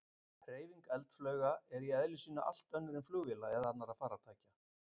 Hreyfing eldflauga er í eðli sínu allt önnur en flugvéla eða annarra farartækja.